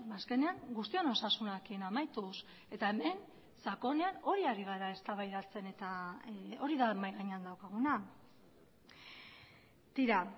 azkenean guztion osasunarekin amaituz eta hemen sakonean hori ari gara eztabaidatzen eta hori da mahai gainean daukaguna tira